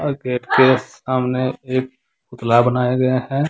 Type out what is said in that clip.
Gate के सामने एक पुतला बनाया गया है।